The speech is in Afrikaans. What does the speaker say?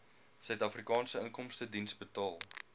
suidafrikaanse inkomstediens betaal